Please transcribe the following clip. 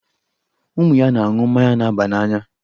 Ụmụ ya na-aṅụ mmanya na-aba n'anya.